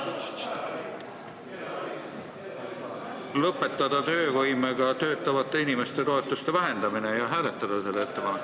Palume lõpetada osalise töövõimega töötavate inimeste toetuste vähendamine ja hääletada seda ettepanekut.